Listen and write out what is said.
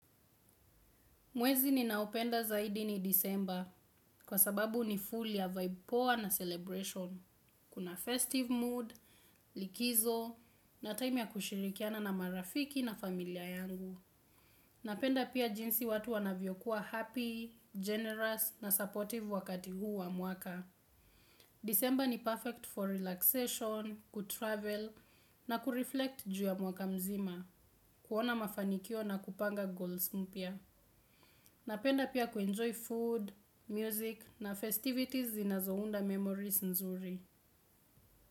Mwezi ninaopenda zaidi ni December kwa sababu ni full ya vibe poa na celebration. Kuna festive mood, likizo na time ya kushirikiana na marafiki na familia yangu. Napenda pia jinsi watu wanavyokuwa happy, generous na supportive wakati huu wa mwaka. December ni perfect for relaxation, kutravel na kureflect juu ya mwaka mzima, kuona mafanikio na kupanga goals mpya. Napenda pia kuenjoy food, music na festivities zinazounda memories nzuri.